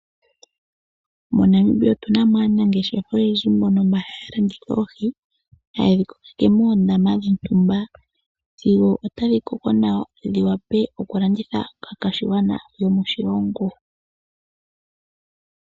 MoNamibia otunamo aanangeshefa oyendji mbono haya landitha oohi hayedhi kokeke mondama dhontumba sigo otadhi koko nawa dhiwape okulandithwa kaakwashigwana yomoshilongo.